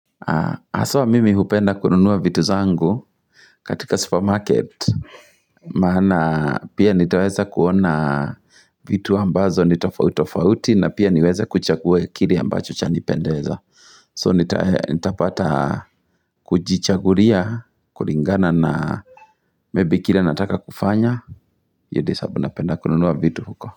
Haswa mimi hupenda kununua vitu zangu katika supermarket Maana pia nitaweza kuona vitu ambazo ni tofautitofauti na pia niweze kuchagua kile ambacho chanipendeza So nitapata kujichagulia, kulingana na maybe kile nataka kufanya, hiyo ndio sababu napenda kununua vitu huko.